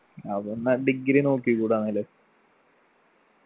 ആവു എന്നാ degree നോക്കിക്കൂടെ എന്നാല്